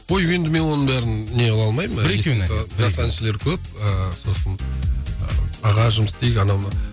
ой енді мен оның бәрін не қыла алмаймын жас әншілер көп ііі сосын аға жұмыс істейік анау мынау